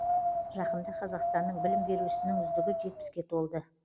жақында қазақстанның білім беру ісінің үздігі жетпіске толды